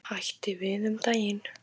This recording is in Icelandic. Hætti við um daginn.